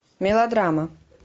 мелодрама